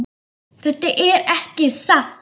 Þetta er ekki satt!